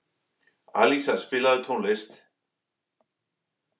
Alísa, spilaðu tónlist.